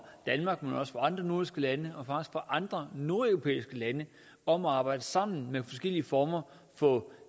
andre nordiske lande og faktisk fra andre nordeuropæiske lande om at arbejde sammen med forskellige former for